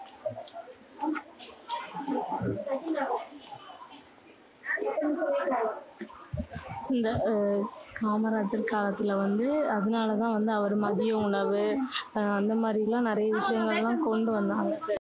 இந்த அஹ் காமராஜர் காலத்துல வந்து அதனால தான் வந்து அவரு மதிய உணவு, ஆஹ் அந்த மாதிரி எல்லாம் நிறைய விஷயங்கள் எல்லாம் கொண்டு வந்தாங்க.